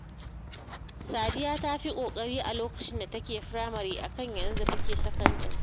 Sadiya tafi kokari a lokacin da take firamare akan yanzu da take sakandare